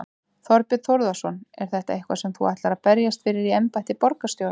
Þorbjörn Þórðarson: Er þetta eitthvað sem þú ætlar að berjast fyrir í embætti borgarstjóra?